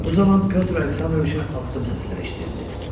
Bu zaman Pyotr Aleksandroviçin addım səsləri eşidildi.